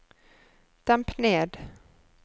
demp ned